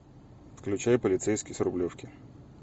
включай полицейский с рублевки